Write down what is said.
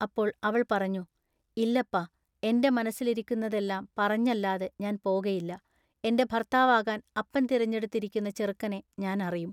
അപ്പോൾ അവൾ പറഞ്ഞു:--ഇല്ലപ്പാ എന്റെ മനസ്സിലിരിക്കുന്നതെല്ലാ പറഞ്ഞല്ലാതെ ഞാൻ പോകയില്ല" എന്റെ ഭൎത്താവാകാൻ അപ്പൻ തിരഞ്ഞെടുത്തിരിക്കുന്ന ചെറുക്കനെ ഞാൻ അറിയും.